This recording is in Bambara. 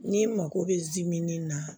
N'i mako bɛ ji min na